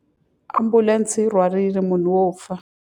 Ambulense yi rhwarile munhu wo fa.